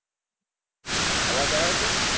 અવાજ આવે છે.